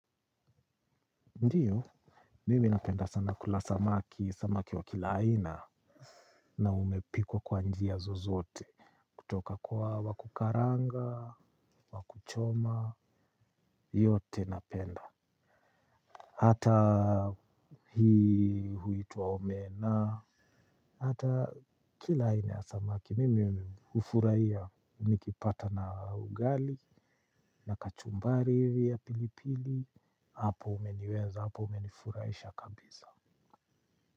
Ndiyo, mimi napenda sana kula samaki, samaki wa kila aina. Na umepikwa kwa njia zozoote. Kutoka kwa wakukaranga, wakuchoma, yote napenda. Hata hii huituwa omena. Hata kila aina ya samaki, mimi ufuraiya, nikipata na ugali, na kachumbari hivi ya pilipili, hapo umeniweza, hapo umenifuraisha kabisa.